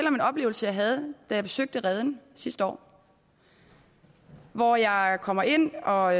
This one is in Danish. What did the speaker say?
om en oplevelse jeg havde da jeg besøgte reden sidste år år jeg kommer ind og